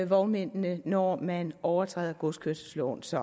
vognmændene når man overtræder godskørselsloven så